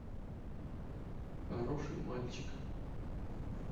хороший мальчик